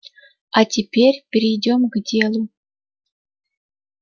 а теперь перейдём к делу